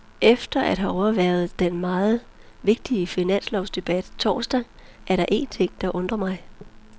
Efter at have overværet den meget vigtige finanslovsdebat torsdag er der én ting, der undrer mig.